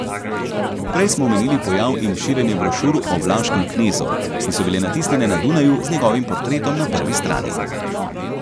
Prej smo omenili pojav in širjenje brošur o vlaškem knezu, ki so bile natisnjene na Dunaju z njegovim portretom na prvi strani.